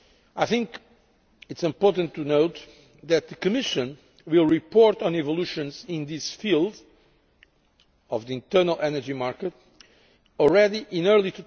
I think it is important to note that the Commission will report on developments in this field, the internal energy market, already in early